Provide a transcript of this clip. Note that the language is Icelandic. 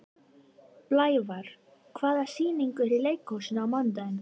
Blævar, hvaða sýningar eru í leikhúsinu á mánudaginn?